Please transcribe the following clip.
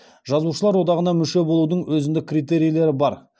жазушылар одағына мүше болудың өзіндік критерийлері бар